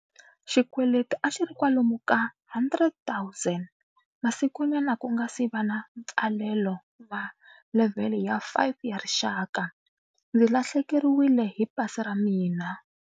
Xikweleti a xi ri kwalomu ka R100 000. Masikunyana ku nga si va na mpfalelo wa levhele ya 5 ya rixaka, ndzi lahlekeriwile hi pasi ra mina.